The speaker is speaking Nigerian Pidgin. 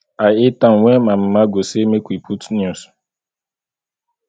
i hate am wen my mama go say make we put news